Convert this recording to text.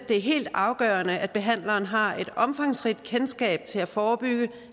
er helt afgørende at behandleren har et omfangsrigt kendskab til at forebygge